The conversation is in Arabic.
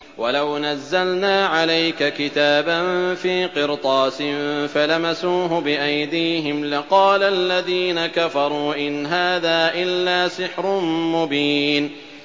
وَلَوْ نَزَّلْنَا عَلَيْكَ كِتَابًا فِي قِرْطَاسٍ فَلَمَسُوهُ بِأَيْدِيهِمْ لَقَالَ الَّذِينَ كَفَرُوا إِنْ هَٰذَا إِلَّا سِحْرٌ مُّبِينٌ